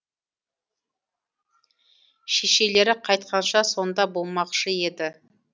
шешелері қайтқанша сонда болмақшы еді